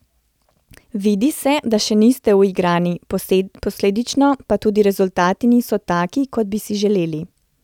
Vidi se, da še niste uigrani, posledično pa tudi rezultati niso taki, kot bi si želeli.